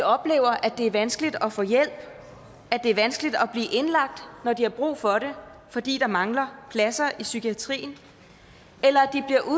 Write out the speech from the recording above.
oplever at det er vanskeligt at få hjælp at det er vanskeligt at blive indlagt når de har brug for det fordi der mangler pladser i psykiatrien eller